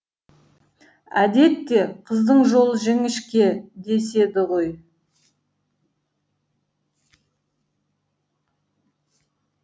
әдетте қыздың жолы жіңішке деседі ғой